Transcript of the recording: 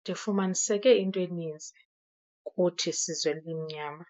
ndifumaniseke into eninzi kuthi sizwe elimnyama.